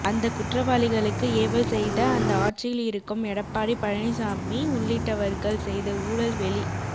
அந்த ககுற்றவாளிகளுக்கு ஏவல் செய்த அந்த ஆட்சியில் இருக்கும் எடப்பாடி பழனிச்சமி உள்ளிட்டவர்கள் செய்த ஊழல் வெளி